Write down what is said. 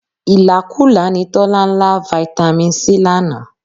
Ìlákùlá ni Tọ́lá ń lá Fitami C lánàá